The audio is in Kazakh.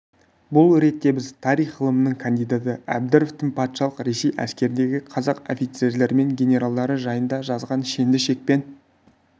бұл ретте біз тарих ғылымының кандидаты әбдіровтың патшалық ресей әскеріндегі қазақ офицерлері мен генералдары жайында жазған шенді шекпен